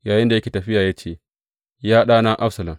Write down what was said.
Yayinda yake tafiya ya ce, Ya ɗana Absalom!